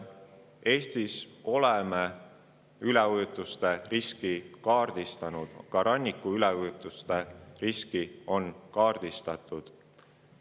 Eestis oleme me üleujutuste riski kaardistanud, ka ranniku üleujutuste riski on kaardistatud.